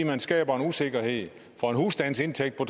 man skaber en usikkerhed for en husstandsindtægt på